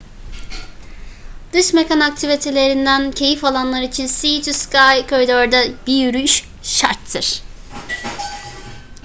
dış mekan aktivitelerinden keyif alanlar için sea to sky corridor'da bir yürüyüş şarttır